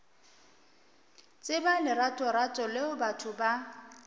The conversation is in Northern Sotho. tseba leratorato leo batho ba